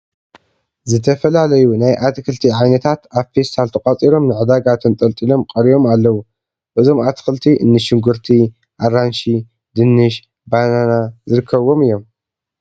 ዝተፈላለዩ ናይ ኣትክልቲ ዓይነታት ኣብ ፌስታል ተቋፂሮም ንድዳጋ ተንጠልጢሎም ቀሪቦም ኣለዉ፡፡ እዞም ኣትክልቲ እኒ ሽጉርቲ፣ ኣራንሺ፣ ድንሽ፣ በናና ዝርከብዎም እዮም፡፡